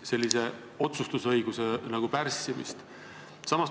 tasandi otsustusõiguse pärssimise üle.